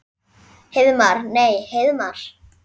Heiðmar. nei Heiðmar?